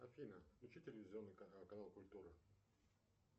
афина включи телевизионный канал культура